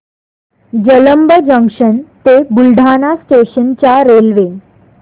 Jalamb junction ते Buldhana station च्या railway